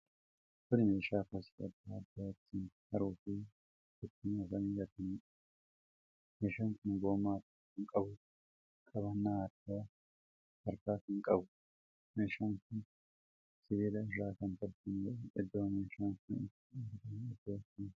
Kun meeshaa kosii adda addaa ittiin haruu fi ittiin oofanii gataniidha. meeshaan kun gommaa tokko kan qabuufi qabannaa harkaa harkaa kan qabuudha. Meeshaan kun sibiila irraa kan tolfameedha. Iddoo meeshaan kun itti argamu iddoo akkamiiti?